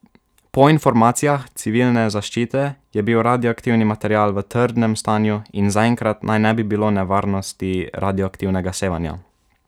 Po informacijah civilne zaščite je bil radioaktivni material v trdnem stanju in zaenkrat naj ne bi bilo nevarnosti radioaktivnega sevanja.